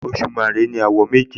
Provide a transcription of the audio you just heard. Òṣùmàrè ní àwọ̀ méje